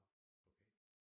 Nå okay